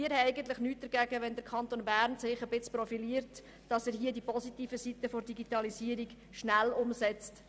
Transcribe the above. Wir haben nichts dagegen, wenn sich der Kanton Bern in diesem Bereich ein wenig profiliert und die positiven Seiten der Digitalisierung schnell umsetzt.